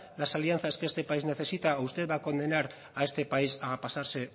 las alianzas que este país necesita o usted va a condenar a este país a pasarse